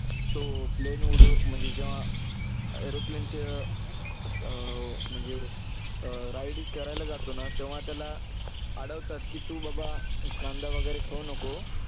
तो plane म्हणजे जेव्हा airplane चे अं असं म्हणजे अं ride करायला जातो ना तेव्हा त्याला अडवतात की तू बाबा कांदा वगैरे खाऊ नको.